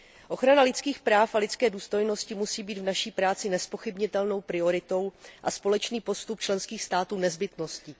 Ochrana lidských práv a lidské důstojnosti musí být v naší práci nezpochybnitelnou prioritou a společný postup členských států nezbytností.